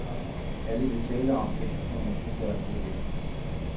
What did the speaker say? Alle vil tale om det, men ingen gøre noget ved det.